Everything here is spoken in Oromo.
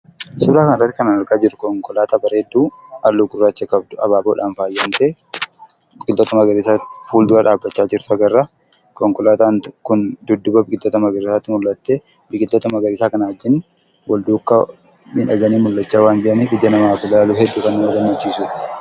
Suuraa kanarratti kan argaa jirru konkolaataa bareedduu halluu gurraacha qabdu habaaboodhaan faayamte wanta akka magariisaa fuuldura dhaabbachaa jirtu agarra. Konkolaataan kun dudduuba biqiloota magariisaatti mul'attee biqiloota magariisaa kana wajjin wal duukaa miidhaganii mul'achaa waan jiraniif ijaan yoo ilaalaman baay'ee nama gammachiisu.